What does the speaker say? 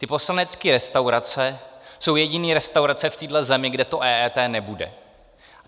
Ty poslanecké restaurace jsou jediné restaurace v téhle zemi, kde to EET nebude.